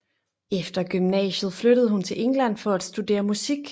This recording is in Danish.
Efter gymnasiet flyttede hun til England for at studere musik